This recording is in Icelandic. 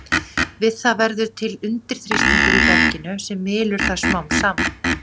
Við það verður til undirþrýstingur í berginu sem mylur það smám saman.